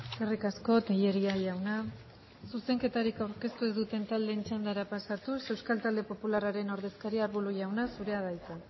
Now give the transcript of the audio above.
eskerrik asko tellería jauna zuzenketarik aurkeztu ez duten taldeen txandara pasatuz euskal talde popularraren ordezkaria arbulo jauna zurea da hitza